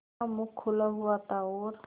उसका मुख खुला हुआ था और